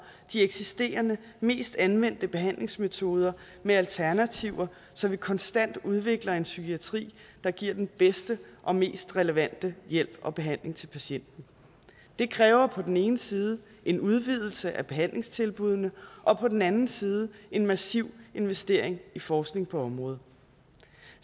de eksisterende mest anvendte behandlingsmetoder med alternativer så vi konstant udvikler en psykiatri der giver den bedste og mest relevante hjælp og behandling til patienten det kræver på den ene side en udvidelse af behandlingstilbuddene og på den anden side en massiv investering i forskning på området